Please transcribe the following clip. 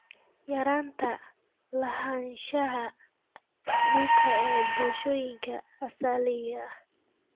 Yaraynta lahaanshaha dhulka ee bulshooyinka asaliga ah.